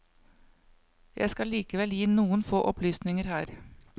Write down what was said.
Jeg skal likevel gi noen få opplysninger her.